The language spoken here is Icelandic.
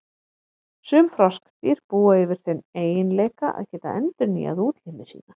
Sum froskdýr búa yfir þeim eiginleika að geta endurnýjað útlimi sína.